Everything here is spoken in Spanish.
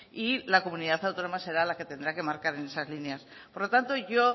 y la comunidad autónoma será la que tendrá que marcar en esas líneas por lo tanto yo